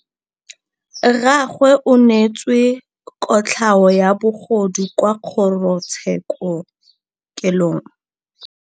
Rragwe o neetswe kotlhaô ya bogodu kwa kgoro tshêkêlông.